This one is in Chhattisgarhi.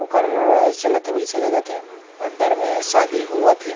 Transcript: ओकर चलत हे अइसे लगत हे अंदर में शादी होवत हे।